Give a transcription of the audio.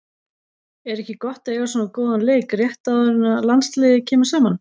Er ekki gott að eiga svona góðan leik rétt áður en að landsliðið kemur saman?